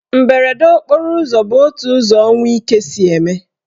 Mberede okporo ụzọ bụ otu ụzọ ọnwụ ike si eme.